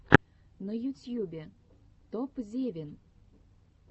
на ютьюбе топзевин